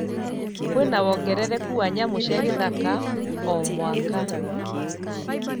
Kwĩna woongerereku wa nyamũ cia gĩthaka o,mwaka